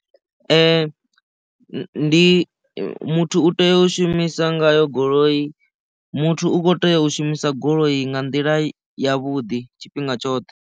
Ndi muthu u tea u shumisa ngayo goloi muthu u kho tea u shumisa goloi nga nḓila ya vhuḓi tshifhinga tshoṱhe.